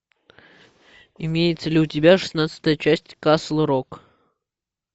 имеется ли у тебя шестнадцатая часть касл рок